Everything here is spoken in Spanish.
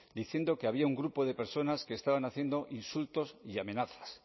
diciendo que había un grupo de personas que estaban haciendo insultos y amenazas